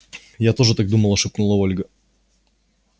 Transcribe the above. я тоже так думала шепнула ольга